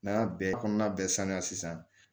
N'an y'a bɛɛ kɔnɔna bɛɛ saniya sisan